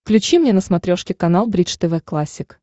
включи мне на смотрешке канал бридж тв классик